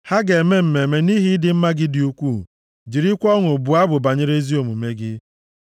Ha ga-eme mmemme nʼihi ịdị mma gị dị ukwuu jirikwa ọṅụ bụọ abụ banyere ezi omume gị.